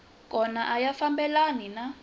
kona a ya fambelani na